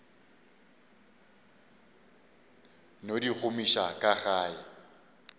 no di gomiša ga ke